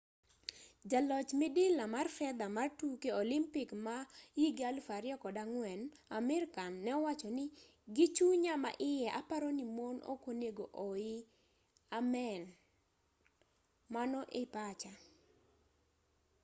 jaloch midila mar fedha mar tuke olimpik ma 2004 amir khan ne owacho ni gi chunya ma iye aparo ni mon ok onego oii amen mano e pacha